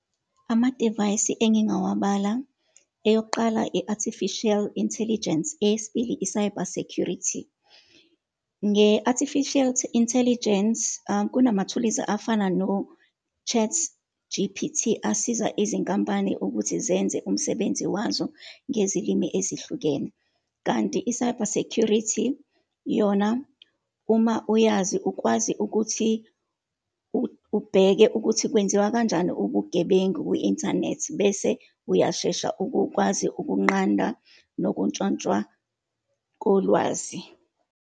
Amadivayisi enginngawabala. Eyokuqala i-artificial intelligence, eyesibili, i-cyber security. Nge-artificial intelligence, kunamathuluzi afana no-ChatGPT, asiza izinkampani ukuthi zenze umsebenzi wazo ngezilimi ezihlukene. Kanti i-cyber security yona, uma uyazi, ukwazi ukuthi ubheke ukuthi kwenziwa kanjani ubugebengu kwi-inthanethi bese uyashesha ukukwazi ukunqanda nokuntshontshwa kolwazi.